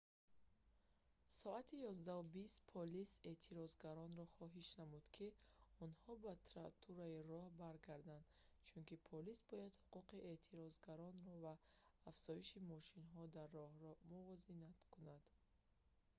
соати 11:20 полис эътирозгаронро хоҳиш намуд ки онҳо ба тротуари роҳ баргарданд чунки полис бояд ҳуқуқи эътирозгарон ва афзоиши мошинҳо дар роҳро мувозинат кунад